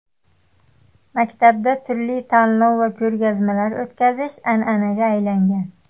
Maktabda turli tanlov va ko‘rgazmalar o‘tkazish an’anaga aylangan.